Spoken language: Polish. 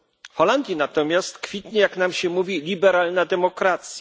W Holandii natomiast kwitnie jak nam się mówi liberalna demokracja.